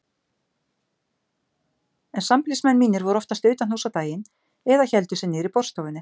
En sambýlismenn mínir voru oftast utanhúss á daginn eða héldu sig niðri í borðstofunni.